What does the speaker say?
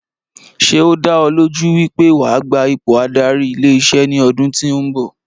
Ṣé o dá ọ lójú wípé wa gba ipò adarí ilé iṣé ní ọdún tí o nbọ